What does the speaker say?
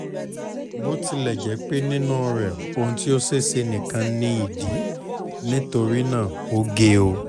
botilẹjẹpe ninu rẹ ohun ti o ṣeeṣe nikan ni idi nitorinaa o ge o